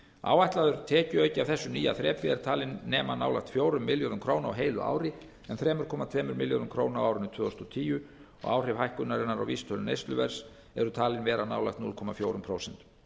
áætlaður tekjuauki af þessu nýja þrepi er talinn nema nálægt fjórum milljörðum króna á heilu ári en þrjú komma tveimur milljörðum króna á árinu tvö þúsund og tíu áhrif hækkunarinnar á vísitölu neysluverðs eru talin vera nálægt núll komma fjögur prósent